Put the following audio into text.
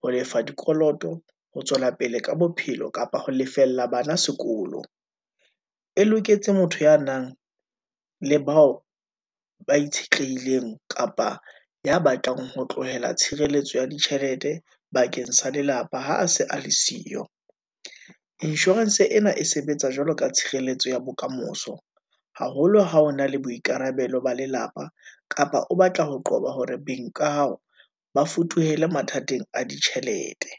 Ho lefa dikoloto, ho tswela pele ka bophelo, kapa ho lefella bana sekolo, e loketse motho ya nang le bao ba itshetlehileng, kapa ya batlang ho tlohela tshireletso ya ditjhelete bakeng sa lelapa, ha se a le siyo. Insurance ena e sebetsa jwalo ka tshireletso ya bokamoso, haholo ha o na le boikarabelo ba lelapa, kapa o batla ho qoba hore beng ka hao, ba futuhela mathateng a ditjhelete.